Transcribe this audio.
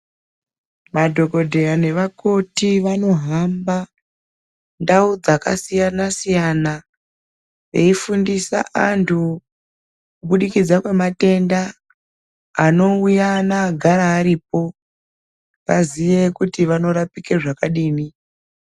Madhokodheya nevakoti vanohamba ndau dzakasiyana siyana veifundisa antu kubudikidza kwematenda anouya neagara aripo vaziye kuti vanorapike zvakadini.